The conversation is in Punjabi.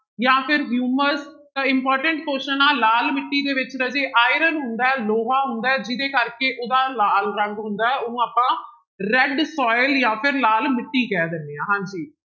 ਜਾਂ ਫਿਰ ਹਿਊਮਸ ਤਾਂ important question ਆਂ ਲਾਲ ਮਿੱਟੀ ਦੇ ਵਿੱਚ ਰਾਜੇ iron ਹੁੰਦਾ ਹੈ ਲੋਹਾ ਹੁੰਦਾ ਹੈ ਜਿਹਦੇ ਕਰਕੇ ਉਹਦਾ ਲਾਲ ਰੰਗ ਹੁੰਦਾ ਹੈ ਉਹਨੂੰ ਆਪਾਂ red soil ਜਾਂ ਫਿਰ ਲਾਲ ਮਿੱਟੀ ਕਹਿ ਦਿੰਦੇ ਹਾਂ ਹਾਂਜੀ।